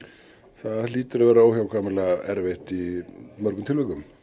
það hlýtur að vera óhjákvæmilega erfitt í mörgum tilvikum